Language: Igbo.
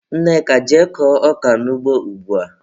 Nneka, jee kọọ ọka n'ugbo ugbua!